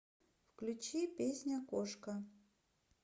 включи песня кошка